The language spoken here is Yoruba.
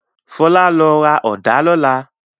Fọlá lọ ra ọ̀dá lọ́lá!